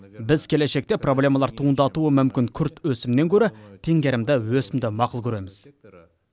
біз келешекте проблемалар туындатуы мүмкін күрт өсімнен гөрі теңгерімді өсімді мақұл көреміз